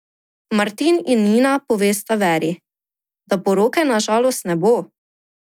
Martin in Nina povesta Veri, da poroke na žalost ne bo.